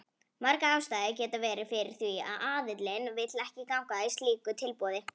Margar ástæður geta verið fyrir því að aðilinn vill ekki ganga að slíku tilboði.